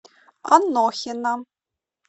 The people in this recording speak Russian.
анохина